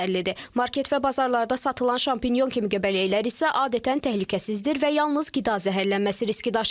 Market və bazarlarda satılan şampinyon kimi göbələklər isə adətən təhlükəsizdir və yalnız qida zəhərlənməsi riski daşıyır.